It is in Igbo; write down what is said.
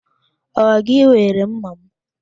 Ọ gị were ḿmàmụ?